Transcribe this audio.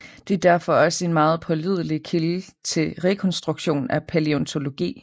De er derfor også en meget pålidelig kilde til rekonstruktion af palæontologi